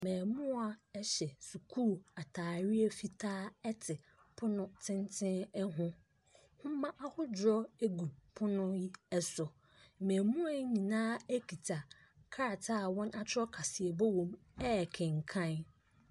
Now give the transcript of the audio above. Mmaamua hyɛ sukuu ataadeɛ fitaa te pono ho, nwoma ahodoɔ gu pono yi so, mmamua yi nyina akita krataa a wɔatwerɛ kaseɛbɔ wɔ mu ɛrekenkan.